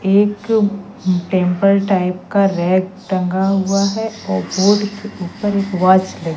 एक temple type का rack टंगा हुआ है और बोर्ड के ऊपर एक वॉच लगी --